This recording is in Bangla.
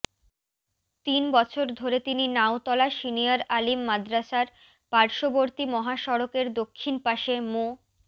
তিন বছর ধরে তিনি নাওতলা সিনিয়র আলিম মাদ্রাসার পার্শ্ববর্তী মহাসড়কের দক্ষিণ পাশে মো